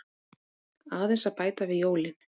Aðeins að bæta við jólin.